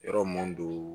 Yɔrɔ mun do